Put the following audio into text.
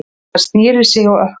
Hann snéri sig á ökkla.